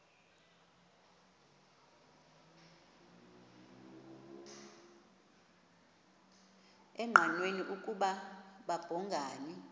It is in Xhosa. engqanweni ukuba babhungani